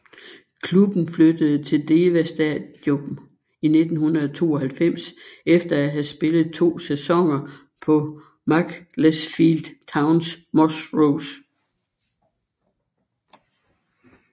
Klubben flyttede til Deva Stadium i 1992 efter at have spillet to sæsoner på Macclesfield Towns Moss Rose